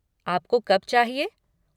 आपको कब चाहिए?